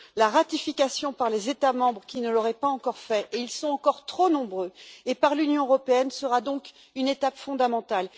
La ratification, par les États membres qui ne l'auraient pas encore fait et ils sont encore trop nombreux et par l'Union européenne, sera donc une étape fondamentale.